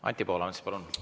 Anti Poolamets, palun!